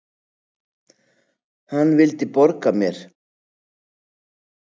Hann vildi borga mér!